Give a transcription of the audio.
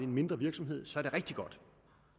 mindre virksomhed så er det rigtig godt